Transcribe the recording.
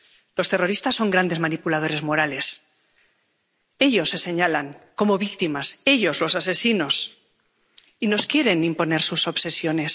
Los terroristas son grandes manipuladores morales ellos se señalan como víctimas —ellos, los asesinos— y nos quieren imponer sus obsesiones.